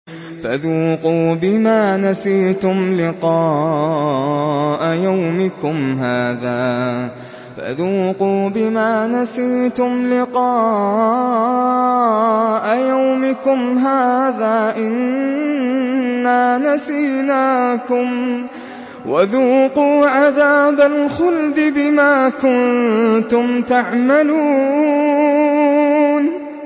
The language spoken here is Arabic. فَذُوقُوا بِمَا نَسِيتُمْ لِقَاءَ يَوْمِكُمْ هَٰذَا إِنَّا نَسِينَاكُمْ ۖ وَذُوقُوا عَذَابَ الْخُلْدِ بِمَا كُنتُمْ تَعْمَلُونَ